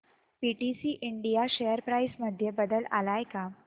PTC India share price मध्ये बदल आलाय का